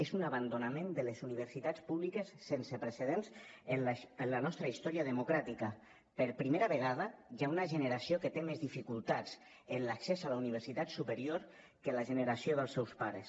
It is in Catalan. és un abandonament de les universitats públiques sense precedents en la nostra història democràtica per primera vegada hi ha una generació que té més dificultats en l’accés a la universitat superior que la generació dels seus pares